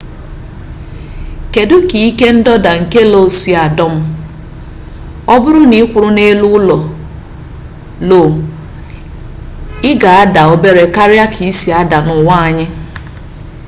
kedụ ka ike ndọda nke lo si adọm ọbụrụ na ịkwụrụ n'elu lo ị ga-ada obere karịa ka ị si ada n'ụwa anyị